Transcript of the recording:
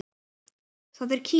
Það er Kína.